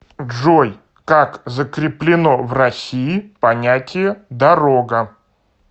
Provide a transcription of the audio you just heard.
джой как закреплено в россии понятие дорога